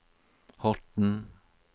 Horten